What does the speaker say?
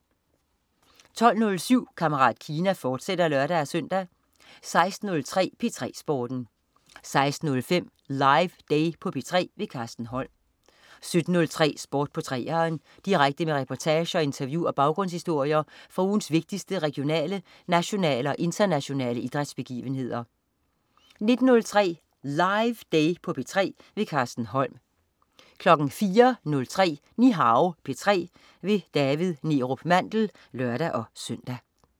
12.07 Kammerat Kina, fortsat (lør-søn) 16.03 P3 Sporten 16.05 LIVEday på P3. Carsten Holm 17.03 Sport på 3'eren. Direkte med reportager, interview og baggrundshistorier fra ugens vigtigste regionale, nationale og internationale idrætsbegivenheder 19.03 LIVEday på P3. Carsten Holm 04.03 Nihao P3. David Neerup Mandel (lør-søn)